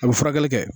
A bɛ furakɛli kɛ